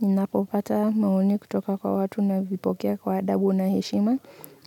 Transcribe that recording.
Ninapopata maoni kutoka kwa watu navipokea kwa adabu na heshima,